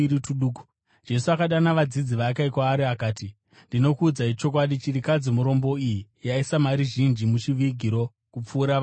Jesu akadana vadzidzi vake kwaari, akati, “Ndinokuudzai chokwadi, chirikadzi murombo iyi yaisa mari zhinji muchivigiro kupfuura vamwe vose.